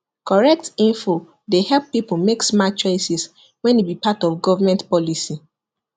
correct info dey help people make smart choices when e be part of government policy